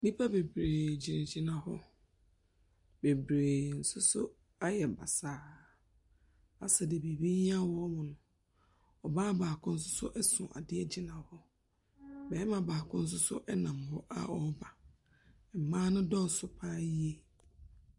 Nnipa bebree gyinagyina hɔ, bebree nso so ayɛ basaa, asɛ deɛ biribi hia wɔn no. Ↄbaa baako nso so ɛso adeɛ gyina hɔ. Barima baako nso so nam hɔ a ɔreba, mmaa no dɔɔso pa ara yie.